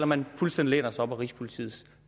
man fuldstændig læner sig op ad rigspolitiets